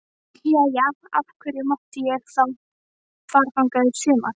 Jæja, af hverju mátti ég þá fara þangað í sumar?